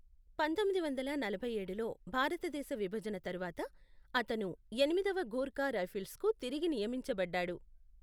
పంతొమ్మిది వందల నలభై ఏడులో భారతదేశ విభజన తరువాత, అతను ఎనిమిదవ గూర్ఖా రైఫిల్స్కు తిరిగి నియమించబడ్డాడు.